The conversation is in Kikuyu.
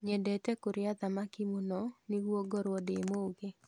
Nyendete kũrĩa thamaki mũno nĩguo ngorwo ndĩ mũgĩ